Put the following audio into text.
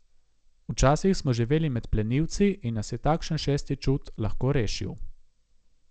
Včasih smo živeli med plenilci in nas je takšen šesti čut lahko rešil.